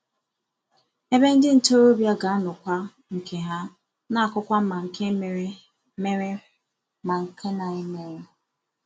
ebe ndị ntorobịa ga-anọkwa nke ha na-akọkwa ma nke mere ma nke na-emeghi